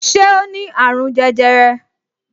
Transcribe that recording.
Ṣé o ní àrùn jẹjẹrẹ